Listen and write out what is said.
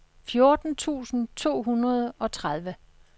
fjorten tusind to hundrede og tredive